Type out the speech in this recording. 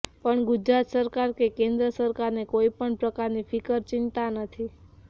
પણ ગુજરાત સરકાર કે કેન્દ્ર સરકાર ને કોઈ પણ પ્રકારની ફિકર ચિંતા નથી